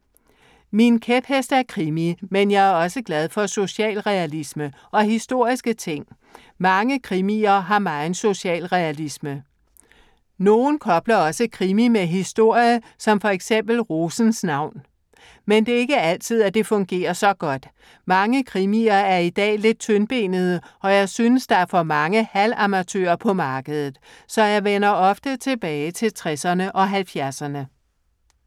Min kæphest er krimi, men jeg er også glad for socialrealisme. Og historiske ting. Mange krimier har meget socialrealisme. Nogle kobler også krimi med historie, som for eksempel Rosens navn. Men det er ikke altid, at det fungerer så godt. Mange krimier i dag er lidt tyndbenede og jeg synes, der er for mange halv-amatører på markedet. Så jeg vender ofte tilbage til 60'erne og 70'erne.